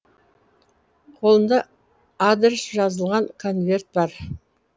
қолында адрес жазылған конверт бар